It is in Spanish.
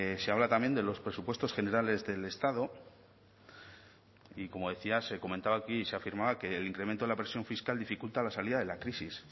se habla también de los presupuestos generales del estado y como decía se comentaba aquí y se afirmaba que el incremento de la presión fiscal dificulta la salida de la crisis